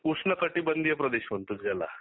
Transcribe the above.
उष्ण कठीबंधीय प्रदेश म्हणतो ज्याला